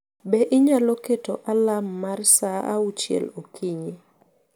Be inyalo keto alarm mar saa auchiel okinyi